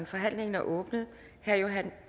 forhandlingen er åbnet herre